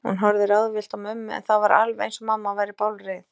Hún horfði ráðvillt á mömmu, en það var alveg eins og mamma væri bálreið.